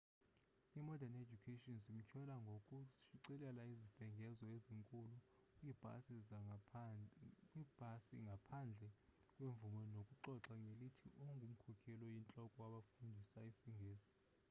i-mordern education zimtyhola ngokushicilela izibhengezo ezinkulu kwiibhasi ngaphandle kwemvume nokuxoka ngelithi ungumkhokeli oyintloko wabafundisa isingesi